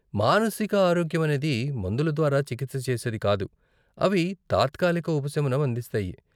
మానసిక ఆరోగ్యమనేది మందుల ద్వారా చికిత్స చేసేది కాదు, అవి తాత్కాలిక ఉపశమనం అందిస్తాయి.